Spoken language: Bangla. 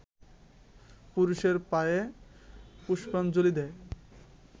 পুরুষের পায়ে পুষ্পাঞ্জলি দেয়